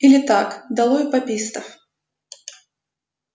или так долой папистов